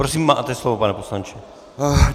Prosím, máte slovo, pane poslanče.